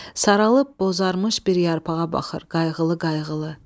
Saralıb bozarmış bir yarpağa baxır qayğılı-qayğılı.